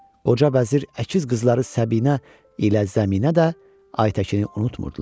Qoca vəzir əkiz qızları Səbinə ilə Zəminə də Aytəkini unutmurdular.